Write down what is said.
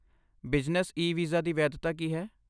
Business e visa ਦੀ ਵੈਧਤਾ ਕੀ ਹੈ?